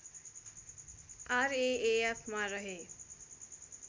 RAAF मा रहे